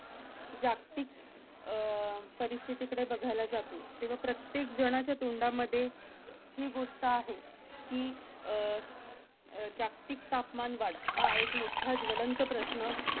जागतिक अह परिस्थितीकडे बघायला जातो तेव्हा प्रत्येक जनाच्या तोंडामध्ये ही गोष्ट आहे की अह अह जागतिक तापमानवाढ हा एक मोठा ज्वलंत प्रश्न